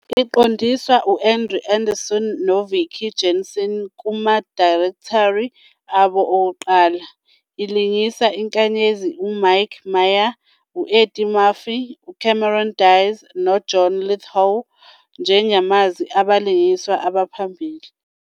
Iqondiswa u-Andrew Adamson no-Vicky Jenson kuma-directory abo okuqala, ilingisa inkanyezi uMike Myers, u-Eddie Murphy, uCameron Diaz, no-John Lithgow njengamazwi abalingiswa abaphambili.